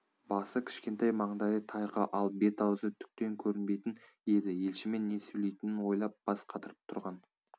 басы кішкентай маңдайы тайқы ал бет-ауызы түктен көрінбейтін еді елшімен не сөйлейтінін ойлап бас қатырып тұрған